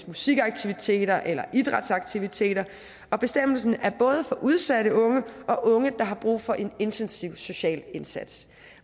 musikaktiviteter eller idrætsaktiviteter og bestemmelsen er både for udsatte unge og unge der har brug for en intensiv social indsats